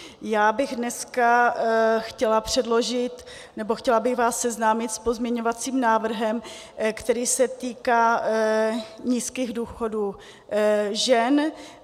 Já bych dneska chtěla předložit nebo chtěla bych vás seznámit s pozměňovacím návrhem, který se týká nízkých důchodů žen.